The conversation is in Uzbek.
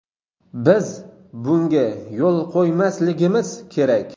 Biz bunga yo‘l qo‘ymasligimiz kerak!